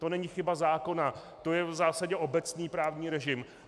To není chyba zákona, to je v zásadě obecný právní režim.